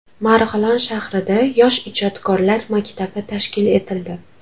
Marg‘ilon shahrida Yosh ijodkorlar maktabi tashkil etildi.